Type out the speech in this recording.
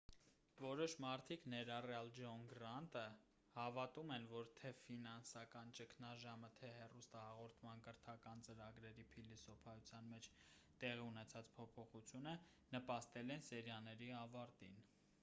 որոշ մարդիկ ներառյալ ջոն գրանտը հավատում են որ թե ֆինանսական ճգնաժամը թե հեռուստահաղորդման կրթական ծրագրերի փիլիսոփայության մեջ տեղի ունեցած փոփոխությունը նպաստել են սերիաների ավարտին